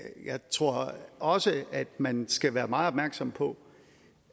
jeg tror også at man skal være meget opmærksom på